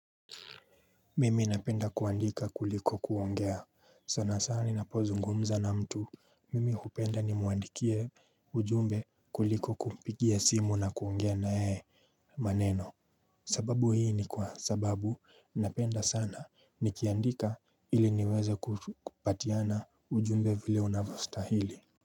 Mimi napenda kuandika kuliko kuongea sana sana ninapozungumza na mtu mimi hupenda ni muandikie ujumbe kuliko kumpigia simu na kuongea na yeye maneno sababu hii ni kwa sababu napenda sana ni kiandika ili niweze kupatiana ujumbe vile unavostahili.